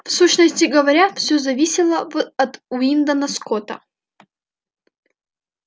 в сущности говоря всё зависело в от уидона скотта